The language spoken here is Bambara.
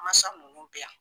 Masa ninnu bɛ yan.